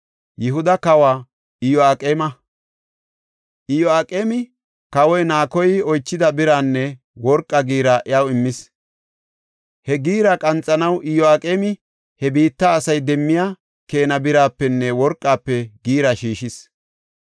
Iyo7aqeemi, kawoy Naakoy oychida biranne worqa giira iyaw immis. He giira qanxanaw Iyo7aqeemi he biitta asay demmiya keena birapenne worqafe giira shiishis.